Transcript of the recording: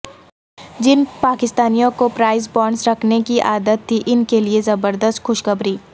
جن پاکستانیوں کو پرائز بانڈز رکھنے کی عادت تھی ان کیلئے زبردست خوشخبری